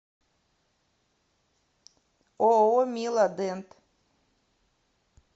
ооо мила дент